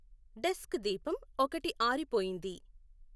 desk దీపం ఒకటి ఆరిపోయింది